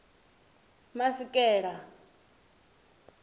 masekela